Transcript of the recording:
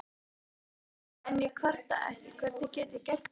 En ég kvarta ekki, hvernig gæti ég gert það?